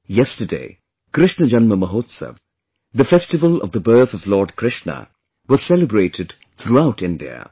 Yesterday, Krishna Janma Mahotsav, the festival of the birth of Lord Krishna was celebrated throughout India